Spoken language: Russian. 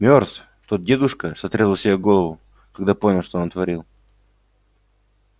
мёртв тот дедушка что отрезал себе голову когда понял что натворил